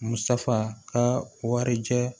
Musaka ka warijɛ